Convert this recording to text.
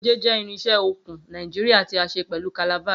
Goje jẹ irinse okun Naijiria ti a ṣe pẹlu calabash.